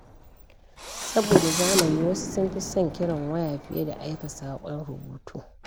Saboda zamani, wasu sun fi son kiran waya fiye da aika saƙon rubutu.